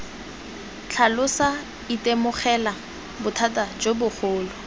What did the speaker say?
tlhalosa itemogela bothata jo bogolo